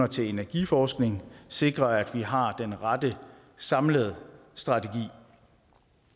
til energiforskning sikre at vi har den rette samlede strategi